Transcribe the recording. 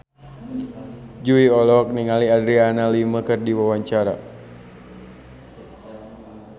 Jui olohok ningali Adriana Lima keur diwawancara